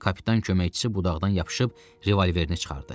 Kapitan köməkçisi budaqdan yapışıb revolverini çıxardı.